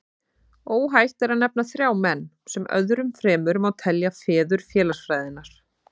Óhætt er að nefna þrjá menn, sem öðrum fremur má telja feður félagsfræðinnar.